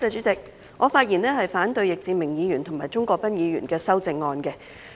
主席，我發言反對易志明議員及鍾國斌議員的修正案。